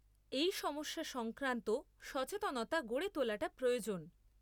এই সমস্যা সংক্রান্ত সচেতনতা গড়ে তোলাটা প্রয়োজন।